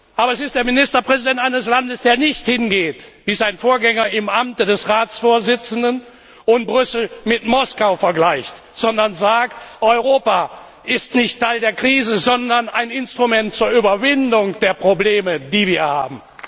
Aber es ist der Ministerpräsident eines Landes, der nicht hingeht wie sein Vorgänger im Amte des Ratsvorsitzenden und Brüssel mit Moskau vergleicht, sondern sagt Europa ist nicht Teil der Krise, sondern ein Instrument zur Überwindung der Probleme, die wir haben.